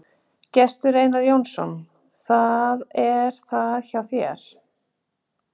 Gestur Einar Jónasson: Hvað er það hjá þér?